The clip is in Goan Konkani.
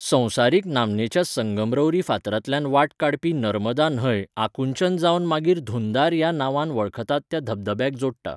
संवसारीक नामनेच्या संगमरवरी फातरांतल्यान वाट काडपी नर्मदा न्हंय आकुंचन जावन मागीर धुंधार ह्या नांवान वळखतात त्या धबधब्याक जोडटा.